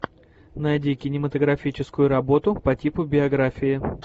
найди кинематографическую работу по типу биографии